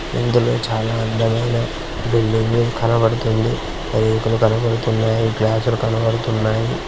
ఇందులో చాలా అందమైన బిల్డింగ్ కనబడుతుంది. రేకులు కనబడుతున్నాయి. గ్లాస్ లు కనబడుతున్నాయి.